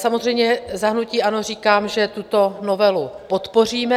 Samozřejmě za hnutí ANO říkám, že tuto novelu podpoříme.